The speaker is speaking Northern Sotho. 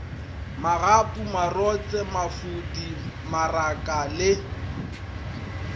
magapu marotse mafodi maraka le